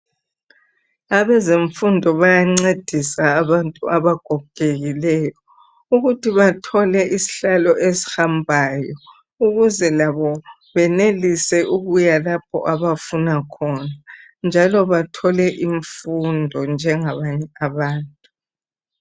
Abezemfundo bayancedisa abantu abagogeliyo ukuthi bathole isihlalo esihambayo ukuze labo benelise ukuya lapho abafuna khona njalo bathole imfundo njengabanye abantu.